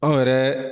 Anw yɛrɛ